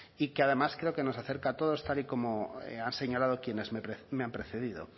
y que además creo que nos acerca a todos tal y como han señalado quienes me han precedido